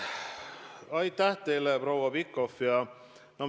Aitäh teile, proua Pikhof!